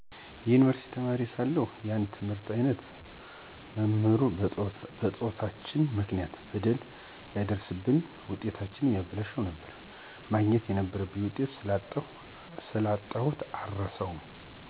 የዩኒቨርሲቲ ተማሪ ሳለሁ የአንድ የትምህርት አይነት መምህር በፆታችን ምክንያት በደል ያደርስብንና ውጤታችንን ያበላሽብን ነበር፣ ማግኘት የነበረብኝን ውጤት ስላጣሁ የአረሳውም።